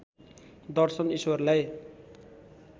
दर्शन ईश्वरलाई